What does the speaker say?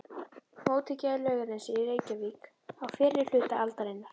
Mótekja í Laugarnesi í Reykjavík á fyrri hluta aldarinnar.